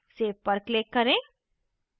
save पर click करें